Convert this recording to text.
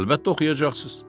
Əlbəttə oxuyacaqsınız.